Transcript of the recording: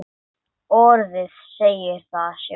Orðið segir það sjálft.